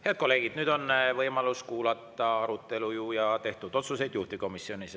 Head kolleegid, nüüd on võimalus kuulata juhtivkomisjoni arutelust ja tehtud otsustest.